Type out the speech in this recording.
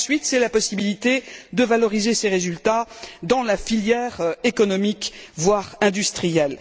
Ensuite, c'est la possibilité de valoriser ces résultats dans la filière économique, voire industrielle.